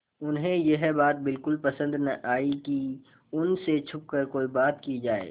उन्हें यह बात बिल्कुल पसन्द न आई कि उन से छुपकर कोई बात की जाए